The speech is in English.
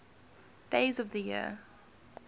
days of the year